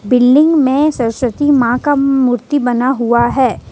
Building में सरस्वती मां का मूर्ति बना हुआ है।